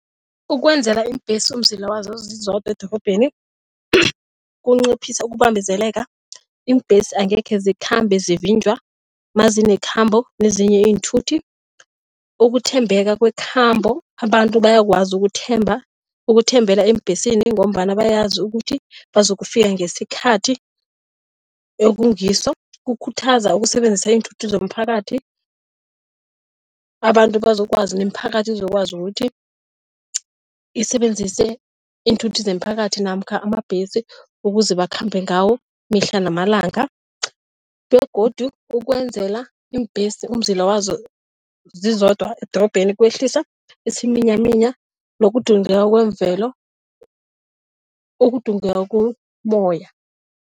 Ukwenzela iimbhesi umzila wazo zizodwa edorobheni, kunciphisa ukubambezeleka. Iimbhesi angekhe zikhambe zivinjwa mazinekhambo nezinye iinthuthi. Ukuthembeka kwekhambo, abantu bayakwazi ukuthemba, ukuthembela eembhesini ngombana bayazi ukuthi bazokufika ngesikhathi ekungiso. Kukhuthaza ukusebenzisa iinthuthi zomphakathi, abantu bazokwazi nemiphakathi izokwazi ukuthi isebenzise iinthuthi zemiphakathi namkha amabhesi ukuze bakhambe ngawo mihla namalanga begodu ukwenzela iimbhesi umzila wazo zizodwa edorobheni kwehlisa isiminyaminya nokudungeka kwemvelo ukudungeka kommoya.